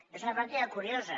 és una pràctica curiosa